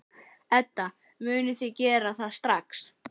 Edda: Munið þið gera það strax?